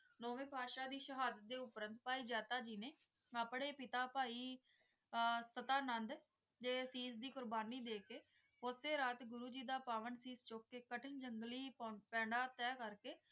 ਨੋਵੇ ਭਾਈ ਦੇ ਸ਼ਹਾਦਤ ਦੇ ਕਰਨ ਭਾਈ ਜਾਤਾ ਜੀ ਨੇ ਆਪਣੇ ਪਿਤਾ ਜੀ ਭਾਈ ਕਾਟਾ ਨੰਦ ਦੇ ਉਸ ਚੀਜ਼ ਦੀ ਕੁਰਬਾਨੀ ਦੇ ਕ ਸਸਿ ਰਾਤ ਗੁਰੂ ਜੀ ਦਾ ਪਾਵਾਂ ਚੁੱਕ ਕ ਕਠਿਨ ਜੰਗਲੀ ਤਹਿ ਕਰ ਕ